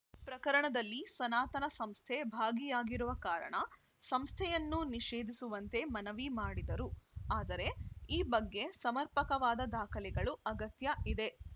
ಪ್ರಕರಣದಲ್ಲಿ ಸನಾತನ ಸಂಸ್ಥೆ ಭಾಗಿಯಾಗಿರುವ ಕಾರಣ ಸಂಸ್ಥೆಯನ್ನು ನಿಷೇಧಿಸುವಂತೆ ಮನವಿ ಮಾಡಿದರು ಆದರೆ ಈ ಬಗ್ಗೆ ಸಮರ್ಪಕವಾದ ದಾಖಲೆಗಳು ಅಗತ್ಯ ಇದೆ